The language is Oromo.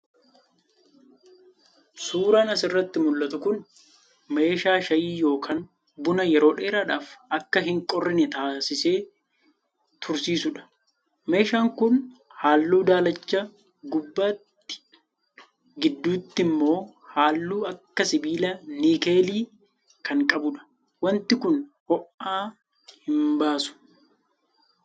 Suuraan asirraa mul'atu kun meeshaa shaayii yookaan buna yeroo dheeraadhaaf akka hin qorrine taasisee tursiisudha. Meeshaan kun halluu daalacha gubbaatti gidduutti immoo halluu akka sibiila nikeelii kan qabudha. Wanti kun ho'a hin baasu.